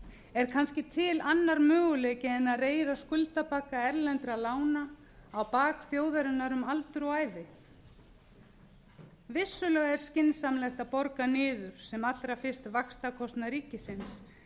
er kannski til annar möguleiki en að reyra skuldabagga erlendra lána á bak þjóðarinnar um aldur og ævi vissulega er skynsamlegt að borga niður sem allra fyrst vaxtakostnað ríkisins en er e